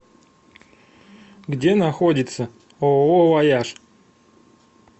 где находится ооо вояж